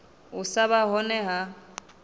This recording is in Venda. u sa vha hone ha